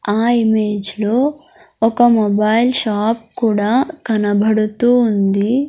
ఆ ఇమేజ్ లో ఒక మొబైల్ షాప్ కూడా కనబడుతూ ఉంది.